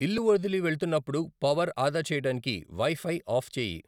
ఇల్లు వదిలి వెళ్తున్నప్పుడు పవర్ ఆదా చెయ్యటానికి వైఫై ఆఫ్ చేయి